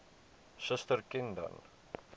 suster ken dan